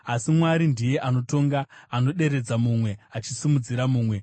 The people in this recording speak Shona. Asi Mwari ndiye anotonga: Anoderedza mumwe, achisimudzira mumwe.